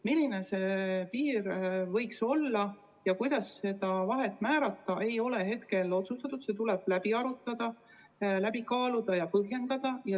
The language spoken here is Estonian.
Milline see piir võiks olla ja kuidas seda vahet määrata, ei ole hetkel otsustatud, see tuleb läbi arutada, läbi kaaluda ja ära põhjendada.